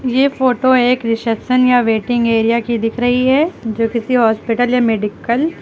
ये फोटो एक रिसेप्शन या वेटिंग एरिया की दिख रही है जो किसी हॉस्पिटल या मेडिकल --